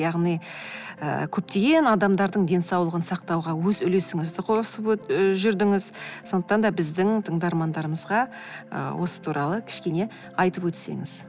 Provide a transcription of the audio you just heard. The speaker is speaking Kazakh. яғни ы көптеген адамдардың денсаулығын сақтауға өз үлесіңізді қосып ы жүрдіңіз сондықтан да біздің тыңдармандармызға ы осы туралы кішкене айтып өтсеңіз